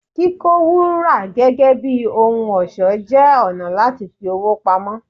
Kíkó Wúrà gẹ́gẹ́ bí ohun ọ̀ṣọ́ jẹ́ ọ̀nà láti fi owó pamọ́.